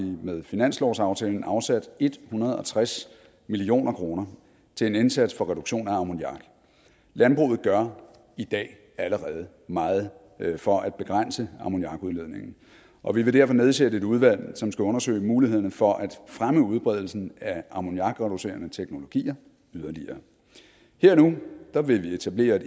med finanslovsaftalen afsat en hundrede og tres million kroner til en indsats for reduktion af ammoniak landbruget gør i dag allerede meget for at begrænse ammoniakudledningen og vi vil derfor nedsætte et udvalg som skal undersøge mulighederne for at fremme udbredelsen af ammoniakreducerende teknologier yderligere her og nu nu vil vi etablere